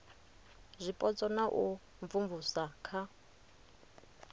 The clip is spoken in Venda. zwipotso na u imvumvusa kha